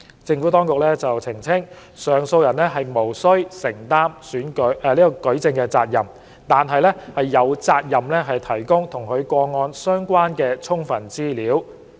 政府當局澄清，上訴人無須承擔舉證責任，但有責任提供與其個案相關的充分資料。